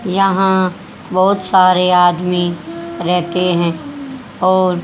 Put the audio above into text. यहां बहुत सारे आदमी रहते हैं और --